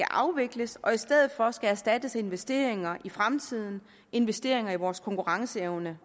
afvikles og i stedet for skal erstattes af investeringer i fremtiden investeringer i vores konkurrenceevne